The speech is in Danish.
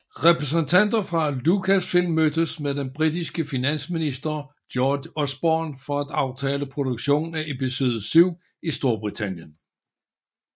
Repræsentanter fra Lucasfilm mødtes med den britiske finansminister George Osborne for at aftale produktionen af Episode VII i Storbritannien